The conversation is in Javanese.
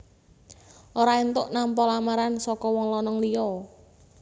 Ora éntuk nampa lamaran saka wong lanang liya